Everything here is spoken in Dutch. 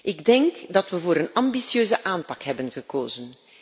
Ik denk dat we voor een ambitieuze aanpak hebben gekozen.